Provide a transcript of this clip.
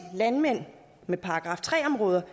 landmænd med § tre områder